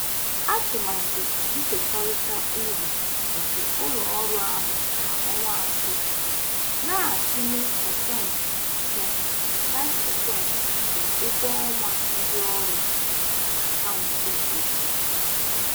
Atụmatụ nkekọrịta uru nke ụlọ ọrụ ahụ kwa ọnwa atọ na-atụnye pasentị ise (5%) nke ụgwọ ọnwa ndị ọrụ na akaụntụ ezumike nka ha.